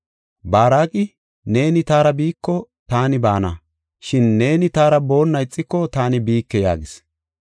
Baaraqi, “Neeni taara biiko taani baana; shin neeni taara boonna ixiko taani biike” yaagis.